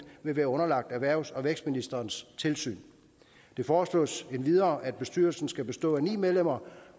vil være underlagt erhvervs og vækstministerens tilsyn det foreslås endvidere at bestyrelsen skal bestå af ni medlemmer